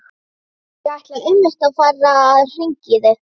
Á gólfinu vangaði stöku foreldri við fullorðið barn sitt.